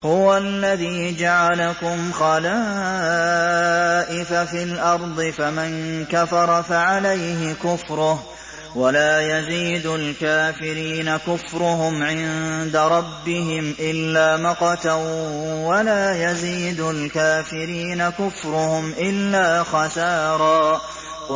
هُوَ الَّذِي جَعَلَكُمْ خَلَائِفَ فِي الْأَرْضِ ۚ فَمَن كَفَرَ فَعَلَيْهِ كُفْرُهُ ۖ وَلَا يَزِيدُ الْكَافِرِينَ كُفْرُهُمْ عِندَ رَبِّهِمْ إِلَّا مَقْتًا ۖ وَلَا يَزِيدُ الْكَافِرِينَ كُفْرُهُمْ إِلَّا خَسَارًا